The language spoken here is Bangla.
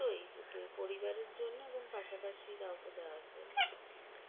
দুটোই দুটোই পরিবারের জন্য এবং পাশাপাশি কাউকে দেওয়ার জন্য